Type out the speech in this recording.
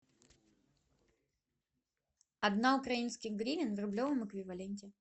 одна украинская гривна в рублевом эквиваленте